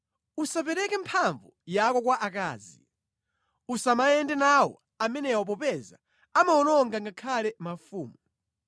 Usapereke mphamvu yako kwa akazi. Usamayenda nawo amenewa popeza amawononga ngakhale mafumu.